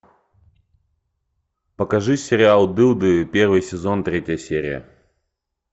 покажи сериал дылды первый сезон третья серия